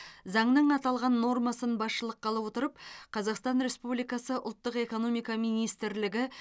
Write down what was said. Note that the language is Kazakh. заңның аталған нормасын басшылыққа ала отырып қазақстан республикасы ұлттық экономика министрлігі